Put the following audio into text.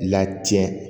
Latiɲɛ